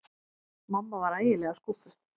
Mamma var ægilega skúffuð.